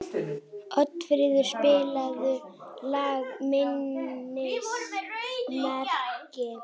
Oddfríður, spilaðu lagið „Minnismerki“.